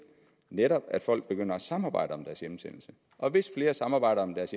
netop at folk begynder at samarbejde om deres hjemsendelse og hvis flere samarbejder om deres